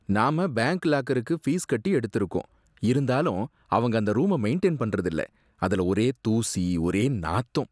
நாம பேங்க் லாக்கருக்கு ஃபீஸ் கட்டி எடுத்திருக்கோம், இருந்தாலும் அவங்க அந்த ரூம மெயிண்டயின் பண்றதில்ல, அதுல ஒரே தூசி, ஒரே நாத்தம்.